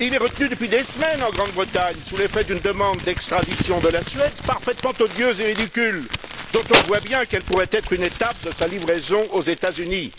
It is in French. Il est retenu depuis des semaines en Grande Bretagne sous l'effet d'une demande d'extradition de la Suède, parfaitement odieuse et ridicule, dont on voit bien qu'elle pourrait être une étape de sa livraison aux États Unis.